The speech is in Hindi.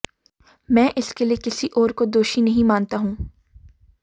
मैं इसके लिए किसी और को दोषी नहीं मानता हूं